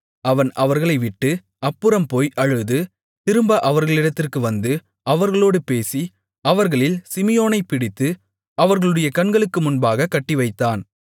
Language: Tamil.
அவன் அவர்களைவிட்டு அப்புறம்போய் அழுது திரும்ப அவர்களிடத்திற்கு வந்து அவர்களோடு பேசி அவர்களில் சிமியோனைப் பிடித்து அவர்களுடைய கண்களுக்கு முன்பாகக் கட்டிவைத்தான்